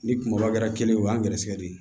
Ni kungolo kɛra kelen ye o y'an gɛrɛsɛgɛ ye